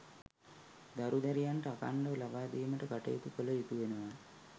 දරු දැරියන්ට අඛණ්ඩව ලබාදීමට කටයුතු කළ යුතු වෙනවා.